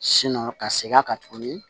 ka segin a kan tuguni